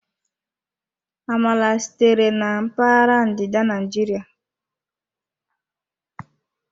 Amala sitere na mpaghara ndịda Naijiria.